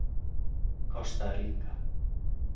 Kosta Ríka